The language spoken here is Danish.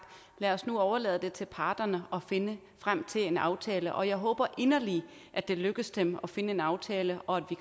lad os nu overlade det til parterne at finde frem til en aftale jeg håber inderligt at det lykkes dem at finde en aftale og at